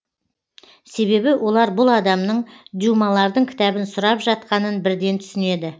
себебі олар бұл адамның дюмалардың кітабын сұрап жатқанын бірден түсінеді